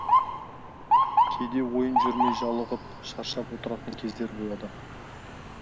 кейде ойын жүрмей жалығып шаршап отыратын кездер болады